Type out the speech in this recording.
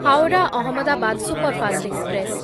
Howrah Ahmedabad superfast express